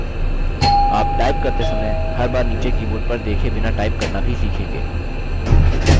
आप टाइप करते समय हर बार नीचे कीबोर्ड पर देखे बिना टाइप करना भी सीखेंगे